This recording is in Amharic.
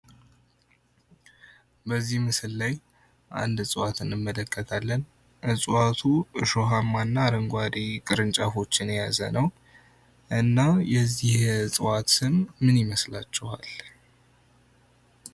በዚህ ምስል ላይ አንድ እጽዋት እንመለከታለን። እጽዋቱ እሾሃማ እና አረንጓዴ ቅጠሎችን የያዘ ነው። እና የዚህ እጽዋት ስም ምን ይመስላችኋል?